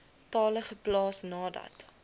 tale geplaas nadat